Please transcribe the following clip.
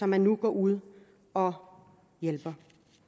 man nu går ud og hjælper